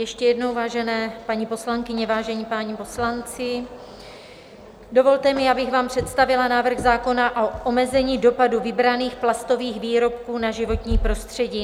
Ještě jednou, vážené paní poslankyně, vážení páni poslanci, dovolte mi, abych vám představila návrh zákona o omezení dopadu vybraných plastových výrobků na životní prostředí.